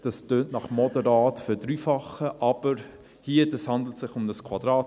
Dies tönt nach einer moderaten Verdreifachung, aber es handelt sich hier um ein Quadrat;